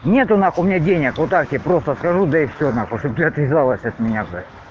нет нахуй у меня денег вот так я просто скажу да и всй нахуй чтобы отвязалась от меня